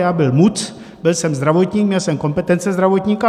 Já byl MUC, byl jsem zdravotník, měl jsem kompetence zdravotníka.